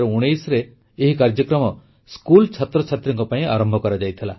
2019ରେ ଏହି କାର୍ଯ୍ୟକ୍ରମ ସ୍କୁଲ ଛାତ୍ରଛାତ୍ରୀଙ୍କ ପାଇଁ ଆରମ୍ଭ କରାଯାଇଥିଲା